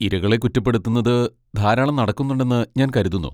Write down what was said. ഇരകളെ കുറ്റപ്പെടുത്തുന്നത് ധാരാളം നടക്കുന്നുണ്ടെന്ന് ഞാൻ കരുതുന്നു.